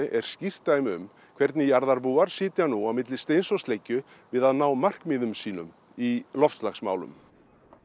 er skýrt dæmið um hvernig jarðarbúar sitja nú á milli steins og sleggju við að ná markmiðum sínum í loftslagsmálum